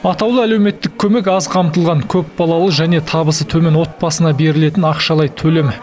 атаулы әлеуметтік көмек аз қамтылған көпбалалы және табысы төмен отбасына берілетін ақшалай төлем